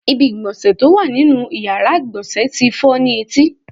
Ibi ìgbọ̀nsẹ̀ tó wà nínú ìyára ìgbọ̀nsẹ̀ tí fọ́ ni etí.